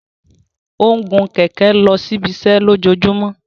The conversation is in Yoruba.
O ń gun kẹkẹ losi ibiṣẹ lojoojumọ.